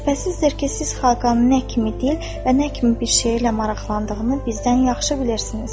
Şübhəsizdir ki, siz Xaqanın nə kimi dil və nə kimi bir şeylə maraqlandığını bizdən yaxşı bilirsiniz.